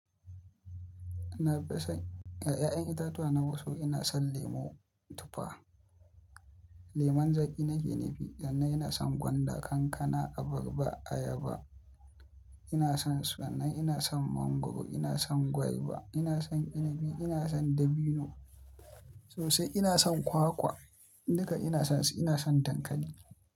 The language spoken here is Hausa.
Na fi son, a 'ya'yan itatuwa na wasu ina son lemo tufa, lemon zaƙi nake nufi, sannan ina son gwanda, kankana, abarba, ayaba ina son su, sannan ina son mangwaro, ina son gwaiba, ina son inabi, ina son dabino sosai, ina son kwakwa duka ina son su ina son dankali.